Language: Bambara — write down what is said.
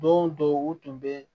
Don dɔw u tun bɛ